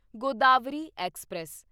Godavari express